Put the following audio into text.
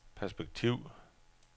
perspektiv